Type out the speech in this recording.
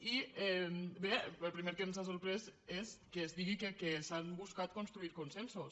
i bé el primer que ens ha sorprès és que es digui que s’ha buscat construir consensos